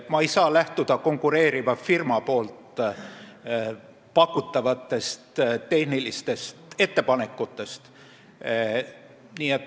Ma ei saa lähtuda konkureeriva firma pakutavatest tehnilistest ettepanekutest.